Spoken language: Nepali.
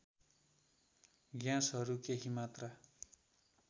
ग्याँसहरू केही मात्रा